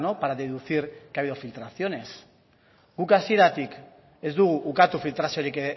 para deducir que ha habido filtraciones guk hasieratik ez dugu ukatu filtraziorik